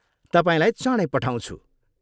तपाईँलाई चाँडै पठाउँछु!